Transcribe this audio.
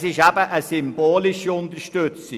Es ist eben eine symbolische Unterstützung.